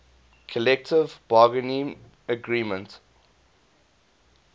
collective bargaining agreement